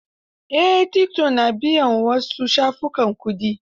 Eh, tiktok na biyan ma su wasu shafukan kuɗi.